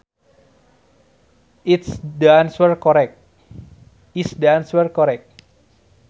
Is the answer correct